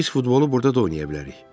Pis futbolu burda da oynaya bilərik.